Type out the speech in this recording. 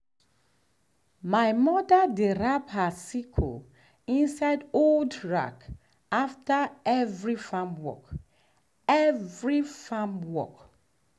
my mother dey wrap her sickle inside old rag after every farm after every farm work.